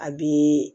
A bɛ